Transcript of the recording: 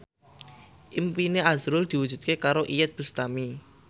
impine azrul diwujudke karo Iyeth Bustami